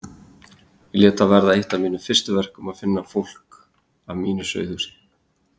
Ég lét það verða eitt af mínum fyrstu verkum að finna fólk af mínu sauðahúsi.